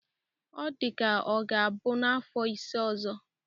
Ọ dịka ọ ga-abụ n'afọ ise ọzọ.